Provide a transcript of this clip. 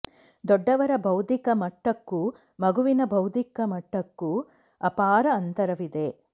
ದೊಡ್ಡವರ ಬೌದ್ಧಿಕ ಮಟ್ಟಕ್ಕೂ ಮಗುವಿನ ಬೌದ್ಧಿಕ ಮಟ್ಟಕ್ಕೂ ಅಪಾರ ಅಂತರವಿದೆ